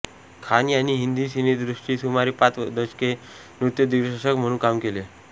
खान यांनी हिंदी सिनेसृष्टीत सुमारे पाच दशके नृत्यदिग्दर्शक म्हणून काम केले